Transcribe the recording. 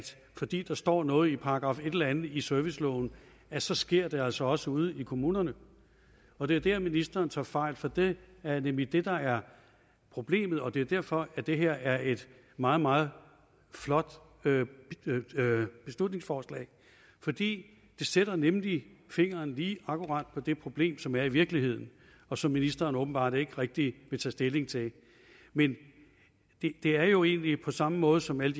fordi der står noget i paragraf et eller andet i serviceloven så sker det også også ude i kommunerne og det er der ministeren tager fejl for det er nemlig det der er problemet og det er derfor at det her er et meget meget flot beslutningsforslag det sætter nemlig fingeren lige akkurat på det problem som er i ude virkeligheden og som ministeren åbenbart ikke rigtig vil tage stilling til men det er jo egentlig på samme måde som i